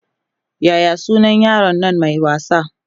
Yaya sunan yaron Nan Mai wasa?